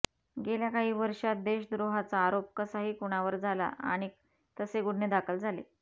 गेल्या काही वर्षांत देशद्रोहाचा आरोप कसाही कुणावर झाला आणि तसे गुन्हे दाखल झाले